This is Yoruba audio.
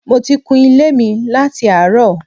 Mo ti kun ilé mi láti àárọ̀